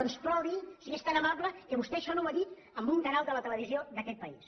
doncs provi si és tan amable que vostè això no ho ha dit en un canal de la televisió d’aquest país